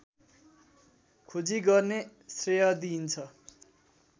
खोजी गर्ने श्रेय दिइन्छ